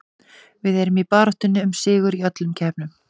Við erum í baráttunni um sigur í öllum keppnum.